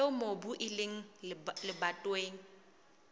eo mobu o leng lebatoweng